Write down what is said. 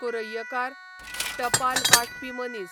कुर्रैयकार, टपाल वांटपी मनीस